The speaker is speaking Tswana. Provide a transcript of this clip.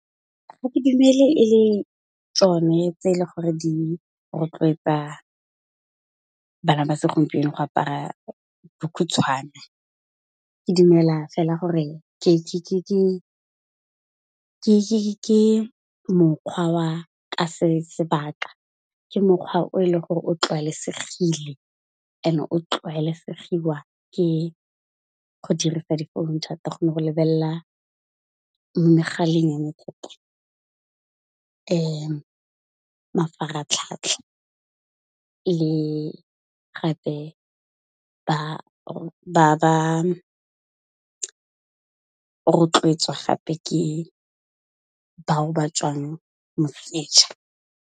Ha ke dumela e le tsone tse e le gore di rotloetsa bana ba segompieno go apara bokhutshwane. Ke dumela fela gore ke mokgwa wa ka se sebaka, ke mokgwa o e leng gore o tlwaelesegile ene o tlwaelesegiwa ke go dirisa difounu thata go ne go lebella megaleng mafaratlhatlha le gape ba rotloetswa gape ke bao ba tswang .